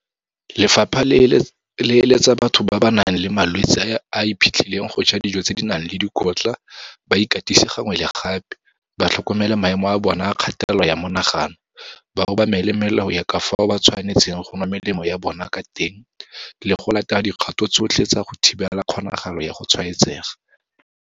Lefapha le eletsa batho ba ba nang le malwetse a a iphitlhileng go ja dijo tse di nang le dikotla, ba ikatise gangwe le gape, ba tlhokomele maemo a bona a kgatelelo ya monagano, ba obamele melao ya ka fao ba tshwanetseng go nwa melemo ya bona ka teng le go latela dikgato tsotlhe tsa go thibela kgonagalo ya go tshwaetsega.